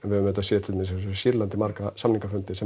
auðvitað séð til dæmis eins og í Sýrlandi marga samningafundi sem